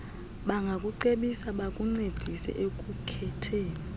bangakucebisa bakuncedise ekukhetheni